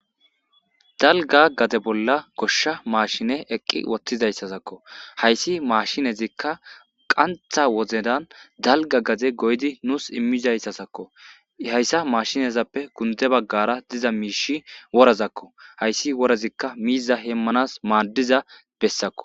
dalga gade bolla goshsha maashine eqqi uttizayssazakko hayssi maashinezikka qantha wozedan dalga gade goydi nuus immizayssasakko hayssa maashinezappe gunde baggara diza miishi worazakko hayssi worazikka miiza hemmanas maaddiza bessakko